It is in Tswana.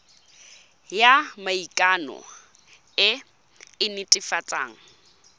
ya maikano e e netefatsang